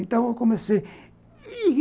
Então eu comecei.